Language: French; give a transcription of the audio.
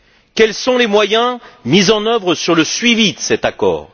Quels sont les moyens mis en œuvre sur le suivi de cet accord?